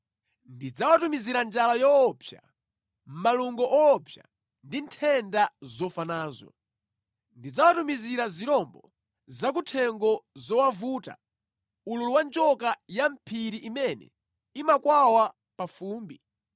Ndidzawatumizira njala yoopsa, malungo woopsa ndi nthenda zofa nazo; ndidzawatumizira zirombo zakuthengo zowavuta, ululu wa njoka ya mʼphiri imene imakwawa pa fumbi.